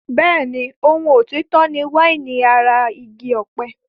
Bẹ́ẹ̀ni, ohun òtítọ́ ni wáìnì ara igi ọ̀pẹ.